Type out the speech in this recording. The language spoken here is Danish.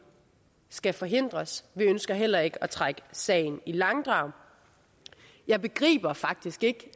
skal forhindres vi ønsker heller ikke at trække sagen i langdrag jeg begriber faktisk ikke